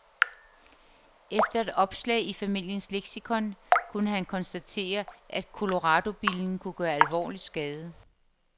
Efter et opslag i familiens leksikon kunne han konstatere, at coloradobillen kunne gøre alvorlig skade.